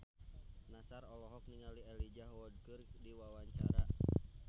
Nassar olohok ningali Elijah Wood keur diwawancara